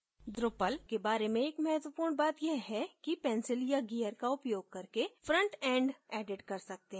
drupal के बारे में एक महत्वपूर्ण बात यह है कि pencil या gear का उपयोग करके front end edit कर सकते हैं